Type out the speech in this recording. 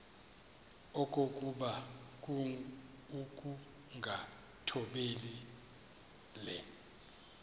okokuba ukungathobeli le